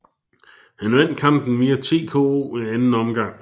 Han vandt kampen via TKO i anden omgang